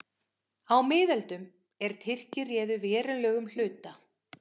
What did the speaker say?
Á miðöldum, er Tyrkir réðu verulegum hluta